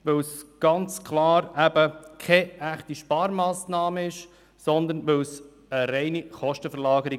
Es handelt sich nicht um eine echte Sparmassnahme, sondern um eine reine Kostenverlagerung.